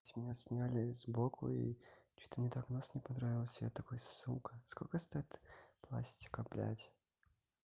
меня сняли с боку и что-то мне так нос не понравился я такой сука сколько стоит пластика блядь